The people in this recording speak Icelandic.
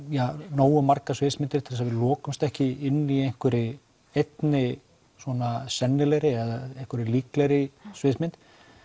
nógu margar sviðsmyndir til þess að við ekki inni í einhverri einni svona sennilegri einhverri líklegri sviðsmynd